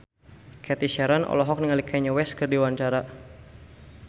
Cathy Sharon olohok ningali Kanye West keur diwawancara